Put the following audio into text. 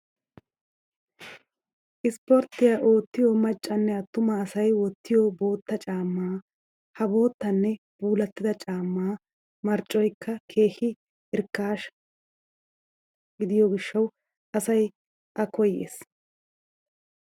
Sisporttiya oottiya maccanne attuma asay wottiyo bootta caammaa. Ha boottanne puulattida caammaa marccoyikka keehi irkkaasha gidiyo gishshawu asay a koyyes.